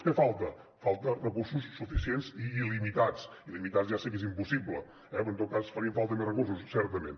què falta falten recursos suficients i il·limitats il·limitats ja sé que és impossible però en tot cas farien falta més recursos certament